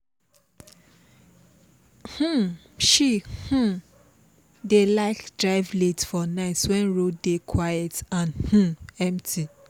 um she um dey like drive late for night wen road dey quiet and um empty